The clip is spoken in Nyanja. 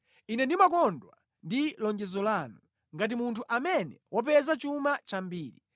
Ine ndimakondwa ndi lonjezo lanu, ngati munthu amene wapeza chuma chambiri.